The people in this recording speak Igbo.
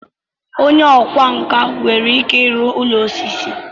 Onye ọkwá nkà nwere ike ịrụ ụlọ osisi.